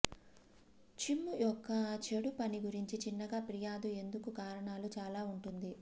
చిమ్ము యొక్క చెడు పని గురించి చిన్నగా ఫిర్యాదు ఎందుకు కారణాలు చాలా ఉంటుంది